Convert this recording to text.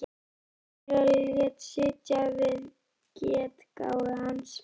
Þórkel og lét sitja við getgátu hans.